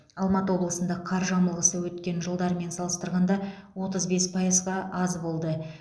алматы облысында қар жамылғысы өткен жылдармен салыстырғанда отыз бес пайызға аз болды